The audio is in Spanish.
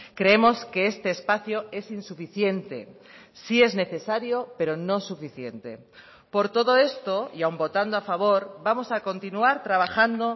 creemos que este espacio es insuficiente sí es necesario pero no suficiente por todo esto y aun votando a favor vamos a continuar trabajando